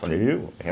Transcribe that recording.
Falei, eu? É